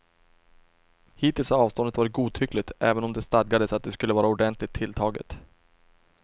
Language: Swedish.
Hittills har avståndet varit godtyckligt, även om det stadgades att det skulle vara ordentligt tilltaget.